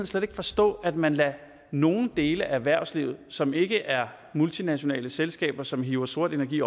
slet ikke forstå at man lader nogle dele af erhvervslivet som ikke er multinationale selskaber og som hiver sort energi